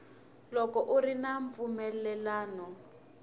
loko ku ri na mpfumelelano